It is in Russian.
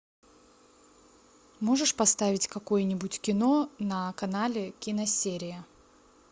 можешь поставить какое нибудь кино на канале киносерия